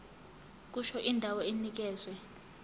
kusho indawo enikezwe